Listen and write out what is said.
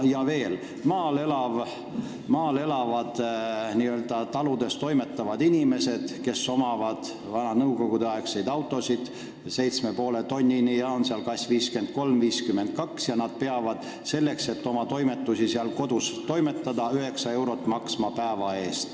Veel, maal elavad ja taludes toimetavad inimesed, kellel on vanad nõukogudeaegsed autod – massiga 7,5 tonnini, GAZ 53, GAZ 52 –, peavad selleks, et oma toimetusi kodus toimetada, maksma üheksa eurot päeva eest.